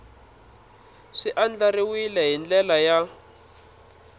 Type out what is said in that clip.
swi andlariwile hi ndlela ya